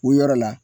O yɔrɔ la